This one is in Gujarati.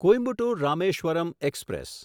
કોઇમ્બતુર રામેશ્વરમ એક્સપ્રેસ